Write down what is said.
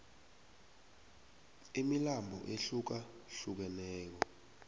imilambo ehluka hlukeneyo